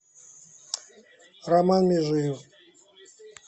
роман межиев